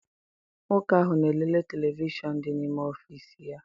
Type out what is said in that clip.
Nwoke ahụ na-elele televishọn dị n'ime ọfịịsi ya.